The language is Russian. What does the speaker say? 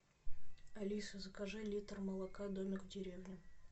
алиса закажи литр молока домик в деревне